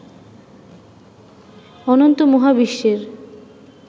অনন্ত মহাবিশ্বের